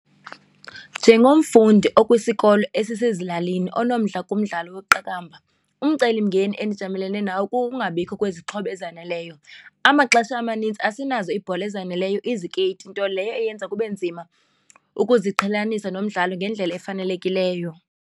Njengomfundi okwisikolo esisezilalini onomdla kumdlalo weqakamba umcelimngeni endijongene nawo kukungabikho kwezixhobo ezaneleyo. Amaxesha amanintsi asinazo iibhola ezaneleyo, izikeyiti, nto leyo eyenza kube nzima ukuziqhelanisa nomdlalo ngendlela efanelekileyo.